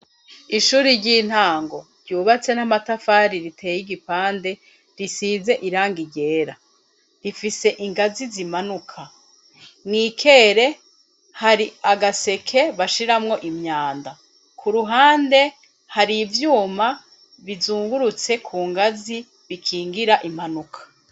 ishuri ry'intango ryubatse n'amatafari riteye igipande risize irangi ryera, rifise ingazi zimanuka, mu ikere hari agaseke bashiramwo imyanda, ku ruhande hari ivyuma bizungurutse ku ngazi bikingira impanuka.